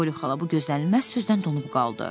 Poli xala bu gözlənilməz sözdən donub qaldı.